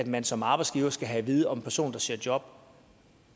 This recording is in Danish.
man som arbejdsgiver skal have at vide om en person der søger job